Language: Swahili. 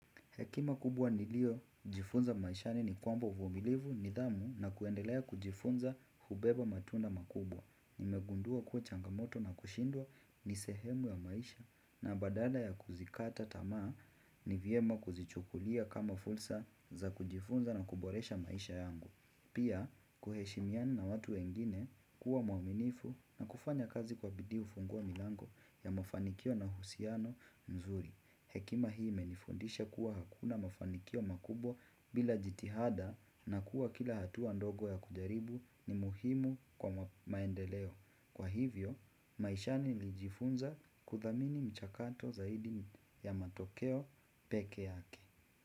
Hekima kubwa niliyo jifunza maishani ni kwamba uvumilivu nidhamu na kuendelea kujifunza hubeba matunda makubwa. Nimegundua kuwa changamoto na kushindwa ni sehemu ya maisha na badala ya kuzikata tamaa ni vyema kuzichukulia kama fursa za kujifunza na kuboresha maisha yangu. Pia, kuheshimiana na watu wengine kuwa mwaminifu na kufanya kazi kwa bidii hufungua milango ya mafanikio na uhusiano mzuri. Hekima hii imenifundisha kuwa hakuna mafanikio makubwa bila jitihada na kuwa kila hatua ndogo ya kujaribu ni muhimu kwa maendeleo. Kwa hivyo, maishani nilijifunza kudhamini mchakato zaidi ya matokeo peke yake.